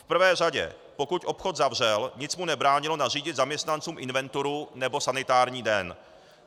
V prvé řadě, pokud obchod zavřel, nic mu nebránilo nařídit zaměstnancům inventuru nebo sanitární den.